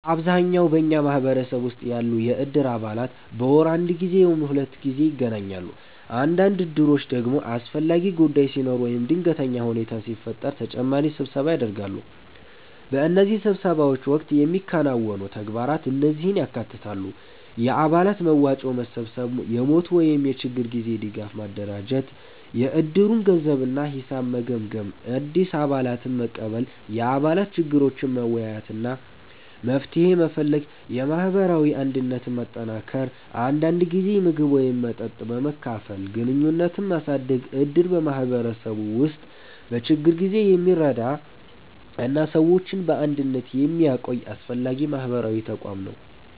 በአብዛኛው በኛ ማህበረሰብ ውስጥ ያሉ የእድር አባላት በወር አንድ ጊዜ ወይም ሁለት ጊዜ ይገናኛሉ። አንዳንድ እድሮች ደግሞ አስፈላጊ ጉዳይ ሲኖር ወይም ድንገተኛ ሁኔታ ሲፈጠር ተጨማሪ ስብሰባ ያደርጋሉ። በእነዚህ ስብሰባዎች ወቅት የሚከናወኑ ተግባራት እነዚህን ያካትታሉ፦ የአባላት መዋጮ መሰብሰብ የሞት ወይም የችግር ጊዜ ድጋፍ ማደራጀት የእድሩን ገንዘብ እና ሂሳብ መገምገም አዲስ አባላትን መቀበል የአባላት ችግሮችን መወያየት እና መፍትሄ መፈለግ የማህበራዊ አንድነትን ማጠናከር አንዳንድ ጊዜ ምግብ ወይም መጠጥ በመካፈል ግንኙነትን ማሳደግ እድር በማህበረሰቡ ውስጥ በችግር ጊዜ የሚረዳ እና ሰዎችን በአንድነት የሚያቆይ አስፈላጊ ማህበራዊ ተቋም ነው።